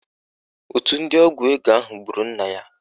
Òtù ndị ọgwụ ego ahụ gburu nna ya